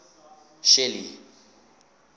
shelly